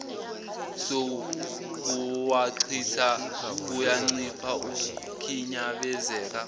sokuwachitha kuyancipha ukukhinyabenzeka